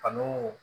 Ani